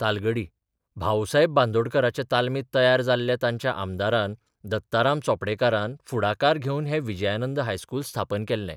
तालगडी भाऊसाहेब बांदोडकराच्या तालमीत तयार जाल्ल्या तांच्या आमदारान दत्ताराम चोपडेकारान फुडाकार घेवन हें विजयानंद हायस्कूल स्थापन केल्लें.